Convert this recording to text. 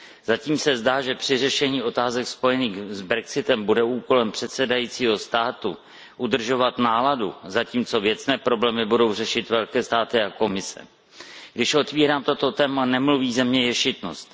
Zatím se zdá, že při řešení otázek spojených s Brexitem bude úkolem předsedajícího státu udržovat náladu, zatímco věcné problémy budou řešit velké státy a Komise. Když otvírám toto téma, nemluví ze mě ješitnost.